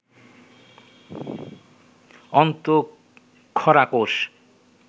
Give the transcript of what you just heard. অন্তঃক্ষরা কোষ